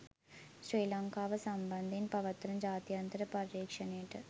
ශ්‍රී ලංකාව සම්බන්ධයෙන් පවත්වන ජාත්‍යන්තර පරීක්ෂණයට